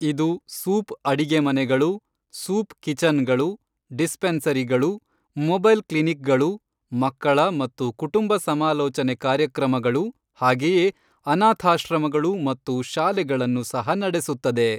ಇದು ಸೂಪ್ ಅಡಿಗೆಮನೆಗಳು, ಸೂಪ್ ಕಿಚನ್ಗಳು, ಡಿಸ್ಪೆನ್ಸರಿಗಳು, ಮೊಬೈಲ್ ಕ್ಲಿನಿಕ್ಗಳು, ಮಕ್ಕಳ ಮತ್ತು ಕುಟುಂಬ ಸಮಾಲೋಚನೆ ಕಾರ್ಯಕ್ರಮಗಳು, ಹಾಗೆಯೇ ಅನಾಥಾಶ್ರಮಗಳು ಮತ್ತು ಶಾಲೆಗಳನ್ನು ಸಹ ನಡೆಸುತ್ತದೆ.